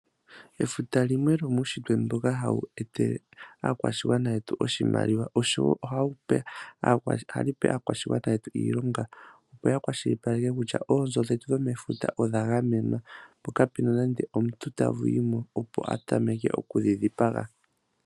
Efuta limwe lyomuunshitwe ndyoka hali etelenaakwashigwana yetu oshimaliwa , oshowoo ohali pe aakwashigwana yetu iilonga, opo yakwashilipaleke kutya oonzo dhetu dhomefuta odha gamwena , po kapuna nande omuntu tayimo opo atameke okudhidhipaga.